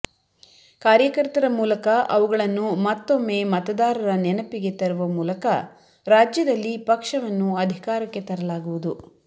ಕಾರ್ಯಕರ್ತರ ಮೂಲಕ ಅವುಗಳನ್ನು ಮತ್ತೊಮ್ಮೆ ಮತದಾರರ ನೆನಪಿಗೆ ತರುವ ಮೂಲಕ ರಾಜ್ಯದಲ್ಲಿ ಪಕ್ಷವನ್ನು ಅಧಿಕಾರಕ್ಕೆ ತರಲಾಗುವುದು